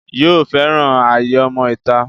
yóò fẹ́ràn ayé ọmọ ìta